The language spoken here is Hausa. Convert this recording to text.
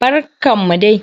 Barkan mu dai!